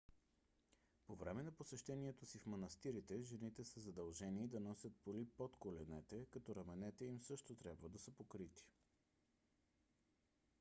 по време на посещението си в манастирите жените са задължени да носят поли под коленете като раменете им също трябва да са покрити